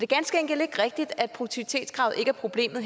ganske enkelt ikke rigtigt at produktivitetskravet ikke er problemet